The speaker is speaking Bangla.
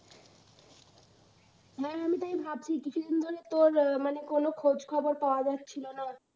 হ্যাঁ আমি তাই ভাবছি, কিছু দিন ধরে তোর মানে কোন খোঁজ খবর পাওয়া যাচ্ছিল না।